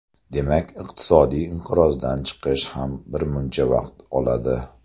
Demak, iqtisodiy inqirozdan chiqish ham birmuncha vaqt oladi.